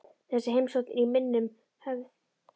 Þessi heimsókn er í minnum höfð.